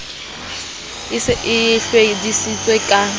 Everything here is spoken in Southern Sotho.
e se e hlwedisitse ka